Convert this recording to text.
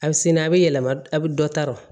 A bɛ sini a bɛ yɛlɛma a bɛ dɔ ta l